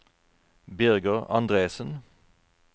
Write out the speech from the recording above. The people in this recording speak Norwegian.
Birger Andresen